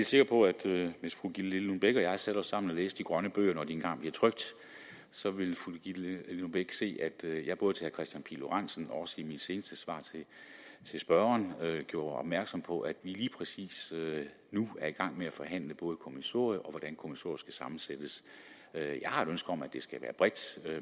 sikker på at hvis fru gitte lillelund bech og jeg sætter os sammen og læser de grønne bøger når de engang bliver trykt så vil fru gitte lillelund bech se at jeg både til herre kristian pihl lorentzen og i mit seneste svar til spørgeren har gjort opmærksom på at vi lige præcis nu er i gang med at forhandle både kommissoriet og kommissoriet skal sammensættes jeg har et ønske om at det skal være bredt